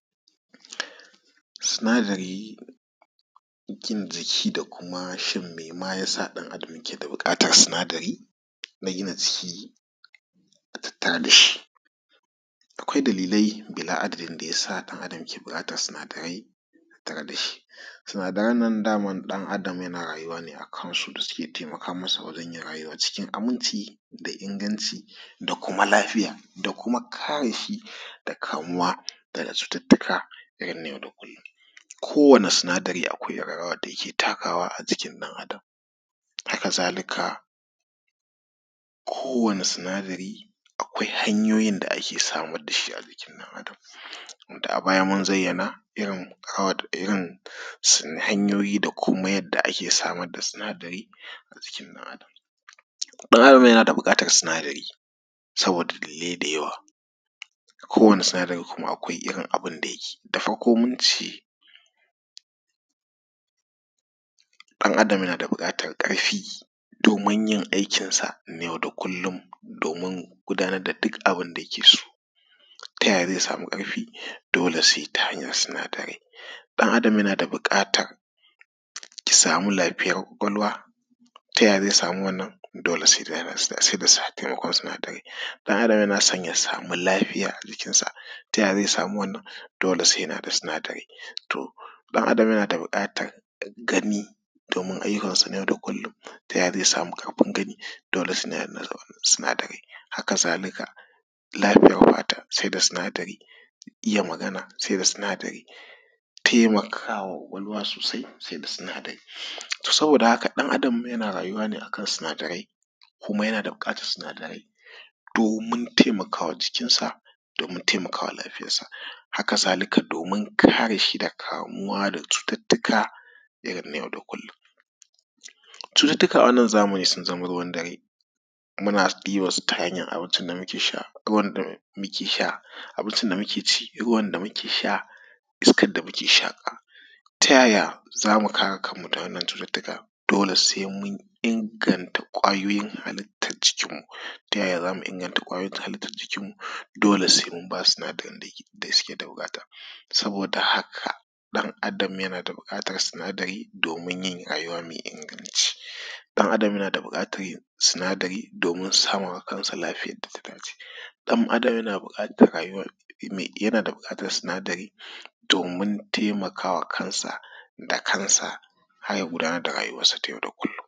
Sinadari gina jiki da kuma shin me ma ya sa ɗan’Adam yake da buƙatan sinadari na gina jiki a tatter da shi. Akwai dalilai bila’adadin da ya sa ɗan’Adam ke buƙatan sinadai tattare da shi sinadaran nan dama ɗan’Adam yana rayuwa ne a kansu da suke taimaka masa wajen yin rayuwa cikin aminci da kuma inganci da kuma lafiya da kuma kare shi daga kamuwa daga cututtuka na yau da kullum. Kowane sinadari akwai irin rawan da yake takawa a jikin ɗan’Adan, haka zalika kowane sinadarin akwai hanyoyin da ake samar da shi a jiki ɗan’Adam da a baya mun zayyana irin hanyoyi da yadda ake samar da sinadari a jikin ɗan’Adam. Har ila yau muna da buƙatan sinadari sabida dalilai da yawa kowane sinadari kuma akwai irin abun da yake yi da farko mun ce ɗan’Adam yana da buƙatan ƙarfi domin yin aikinsa na yau da kullum domin gudanar da duk abun da yake so. Ta yaya ze samu ƙarfi? Dole se ta hanyan sinadarai ɗan’Adam yana da buƙatan ya samu lafiyayan kwakwalwa. Ta yaya ze samu wannan? Dole se ta ko sinadarai, yaron yana so ya samu lafiya a jikinsa. Ta ya ze samu wannan? Dole se yana da sinadarai. To, ɗan’Adam yana da buƙatan gani domin ayyukan sa na yau da kullum. T ya ze samu ƙarfi gani? Dole se yana da da sinadarai, haka zalika lafiyar fata se da sinadarai. Iya magana se da sinadari taimakawa kwakwalwa sosai se da sinadarai saboda ɗan’Adam yana rayuwa ne akan sinadarai kuma yana da buƙatan sinadarai domin taimakama jikinsa domin taimakama lafiyarsa. Haka zalika domin kare shi da kamuwa da cututtuka irin na yau da kullum, cututtuka a wannan amfani sun zama ruwan dare, muna yin ta hanyan abinci da muke sha, abinci da muke ci, ruwan da muke sha, iskar da muke shaƙa. Ta yaya za mu kare kanmu da wannan cututtuka? Dole se mun inganta kwayoyin halittan jikin mu. Ta yaya za mu inganta halittan jikin? Mu dole se mun ba su sinadarin da suke da buƙata saboda haka ɗan’Adam yana da buƙatan sinadari domin yin rayuwa mai inganci ɗan’Adam yana da buƙatan sinadari domin sawa lafiyar da inganci, ɗan’Adam yana da buƙatan sinadari domin taimkawa kansa da kansa har ya gudanar da rayuwansa na yau da kullum.